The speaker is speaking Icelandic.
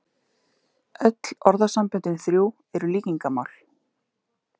Öll orðasamböndin þrjú eru líkingamál.